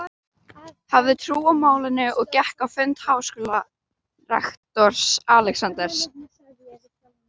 hafði trú á málinu og gekk á fund háskólarektors, Alexanders